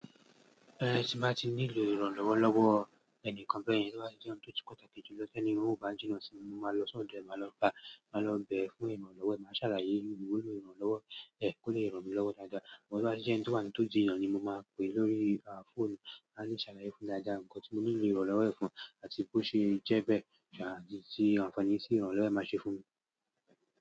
Ẹni tí máa ti nílò ìrànlọ́wọ́ lọ́wọ́ ẹnìkan bẹ́ẹ̀ yen, tí wọ́n bá jẹ́ ẹni tó ti kọ́ta kejì lọ sí ẹni tí ó bá ń jìnnà síi. Mo máa lọ sọ́dọ̀ ẹ́, màá lọ bàá, màá lọ bẹ̀ ẹ́ fún ìrànlọ́wọ́, màá ṣàlàyé wípé mo nílò ìrànlọ́wọ́ ẹ, kó lè ràn mí lọ́wọ́ dáadáa. Mo rántí pé ẹni tí wọ́n tó ń jìnnà ni mo máa pè lórí fóònù láti ṣàlàyé fún dáadáa nǹkan tí mo nílò ìrànlọ́wọ́ ẹ fún àti bó ṣe jẹ́ bẹ́ẹ̀, àdí sí ànfàní sí ìrànlọ́wọ́ ẹ máa ṣe fún mi.